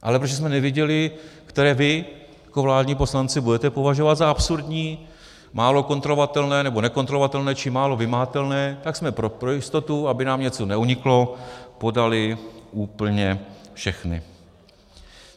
Ale protože jsme nevěděli, které vy jako vládní poslanci budete považovat za absurdní, málo kontrolovatelné nebo nekontrolovatelné či málo vymahatelné, tak jsme pro jistotu, aby nám něco neuniklo, podali úplně všechny.